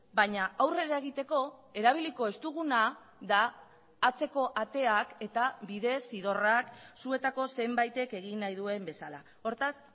baina aurrera egiteko erabiliko ez duguna da atzeko ateak eta bidezidorrak zuetako zenbaitek egin nahi duen bezala hortaz